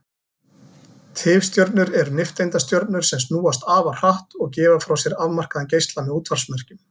Tifstjörnur eru nifteindastjörnur sem snúast afar hratt og gefa frá sér afmarkaðan geisla með útvarpsmerkjum.